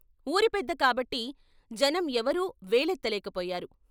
వూరి పెద్ద కాబట్టి జనం ఎవరూ వేలెత్తలేకపోయారు.